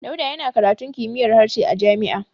Dauda yana karatun kimiyyar harshe a jami'a.